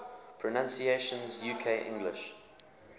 pronunciations uk english